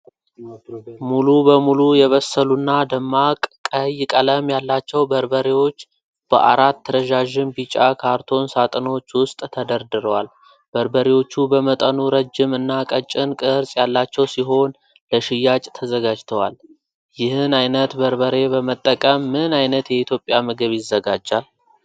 ሙሉ በሙሉ የበሰሉና ደማቅ ቀይ ቀለም ያላቸው በርበሬዎች በአራት ረዣዥም ቢጫ ካርቶን ሳጥኖች ውስጥ ተደርድረዋል። በርበሬዎቹ በመጠኑ ረጅም እና ቀጭን ቅርጽ ያላቸው ሲሆን ለሽያጭ ተዘጋጅተዋል። ይህን አይነት በርበሬ በመጠቀም ምን ዓይነት የኢትዮጵያ ምግብ ይዘጋጃል?